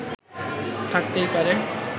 থাকতেই পারে